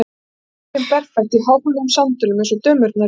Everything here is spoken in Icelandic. Þá var dóttirin berfætt í háhæluðum sandölum, eins og dömurnar í bíó.